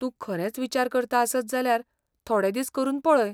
तूं खरेंच विचार करता आसत जाल्यार थोडे दीस करून पळय.